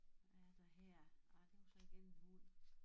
Hvad er der her ej det var så igen en hund